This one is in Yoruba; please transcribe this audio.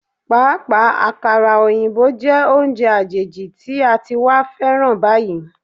Pàápàá, àkàrà òyìnbó jẹ́ oúnjẹ àjèjì tí a ti wá féràn báyìí.